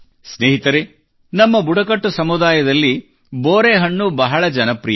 ಸ್ನೇಹಿತರೆ ನಮ್ಮ ಬುಡಕಟ್ಟು ಸಮುದಾಯದಲ್ಲಿ ಬೋರೆಹಣ್ಣು ಬಹಳ ಜನಪ್ರಿಯ